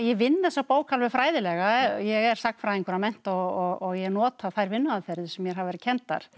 vinn þessa bók alveg fræðilega ég er sagnfræðingur að mennt og ég nota þær vinnuaðferðir sem mér hafa verið kenndar